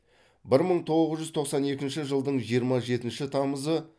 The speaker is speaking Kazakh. бір мың тоғыз жүз тоқсан екінші жылдың жиырма жетінші тамызы